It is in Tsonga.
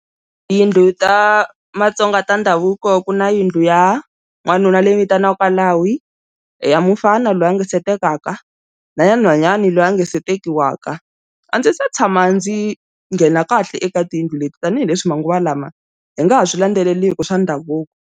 Tiyindlu ta Matsonga ta ndhavuko ku na yindlu ya n'wanuna leyi vitaniwaka lawi, ya mufana loyi a nge se tekaka na ya vanhwanyani loyi a nga se tekiwaka a ndzi se tshama ndzi nghena kahle eka tiyindlu leti tanihileswi manguva lama hi nga ha swi landzeleliki swa ndhavuko.